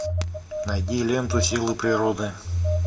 найди ленту силы природы